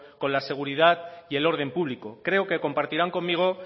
con la seguridad y el orden público creo que compartirán conmigo